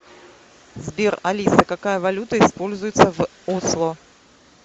сбер алиса какая валюта используется в осло